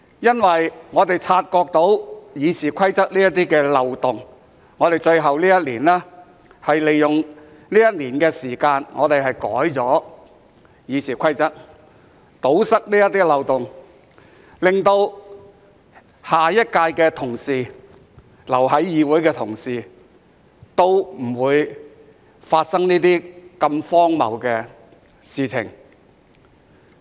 因為我們察覺到《議事規則》的這些漏洞，所以在最後這年，利用一年的時間修改《議事規則》，堵塞這些漏洞，令下一屆的同事、留在議會的同事，都不會經歷這些如此荒謬的事情。